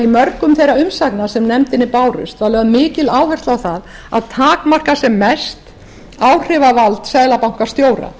mörgum þeirra umsagna sem nefndinni bárust var lögð mikil áhersla á það að takmarka sem mest áhrifavald seðlabankastjóra